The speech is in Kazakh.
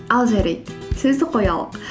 ал жарайды сөзді қоялық